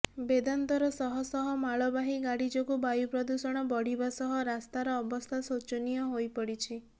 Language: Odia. ବେଦାନ୍ତର ଶହ ଶହ ମାଳବାହୀ ଗାଡି ଯୋଗୁଁ ବାୟୁ ପ୍ରଦୂଷଣ ବଢିବା ସହ ରାସ୍ତାର ଅବସ୍ଥା ସୋଚନୀୟ ହୋଇପଡିଛି